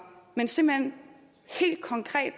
men simpelt hen helt konkret